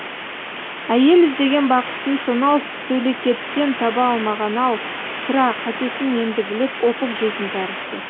әйел іздеген бақытын сонау сөлекеттен таба алмаған ау сірә қатесін енді біліп опық жейтін тәрізді